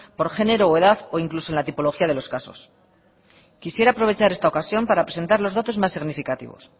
por género o edad o incluso en la tipología de los casos quisiera aprovechar esta ocasión para presentar los datos más significativos